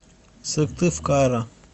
сыктывкара